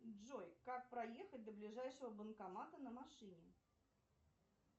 джой как проехать до ближайшего банкомата на машине